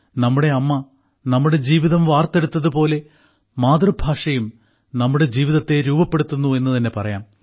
നമ്മുടെ അമ്മ നമ്മുടെ ജീവിതം വാർത്തെടുത്തതുപോലെ മാതൃഭാഷയും നമ്മുടെ ജീവിതത്തെ രൂപപ്പെടുത്തുന്നു എന്നു തന്നെ പറയാം